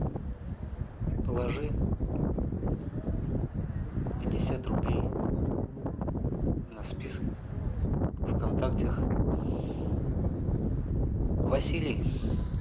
положи пятьдесят рублей на список в контактах василий